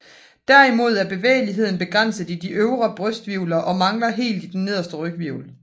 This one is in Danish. Derimod er bevægeligheden begrænset i de øvre brysthvirvler og mangler helt i de nederste ryghvirvler